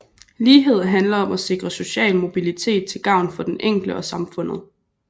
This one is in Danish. Lighed handler om at sikre social mobilitet til gavn for den enkelte og samfundet